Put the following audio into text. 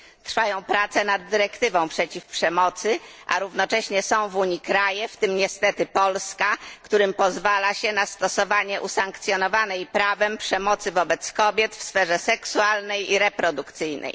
Trwają prace nad dyrektywą przeciw przemocy, a równocześnie są w Unii kraje, w tym niestety Polska, którym pozwala się na stosowanie usankcjonowanej prawem przemocy wobec kobiet w sferze seksualnej i reprodukcyjnej.